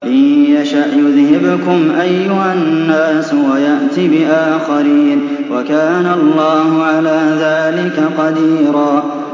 إِن يَشَأْ يُذْهِبْكُمْ أَيُّهَا النَّاسُ وَيَأْتِ بِآخَرِينَ ۚ وَكَانَ اللَّهُ عَلَىٰ ذَٰلِكَ قَدِيرًا